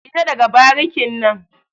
Fita daga barikin nan.